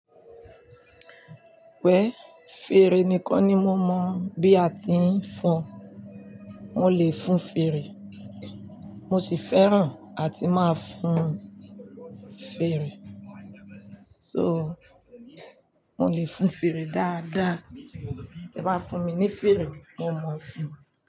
Pẹ̀, fèrè nìkan ni mo mọ̀ bí a ti ń fọn, mo lè fọn fèrè mo sì fẹ́ràn àti máa fọn fèrè. So, mo le fọn fèrè dáadáa. Tí ẹ bá fún mi ní fèrè, mo mọ̀ síi.